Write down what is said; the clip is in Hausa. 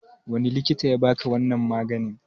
Wani likita yabaka wannan maganin?